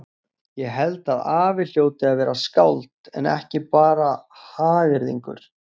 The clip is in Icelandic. Ég held að afi hljóti að vera skáld en ekki bara hagyrðingur.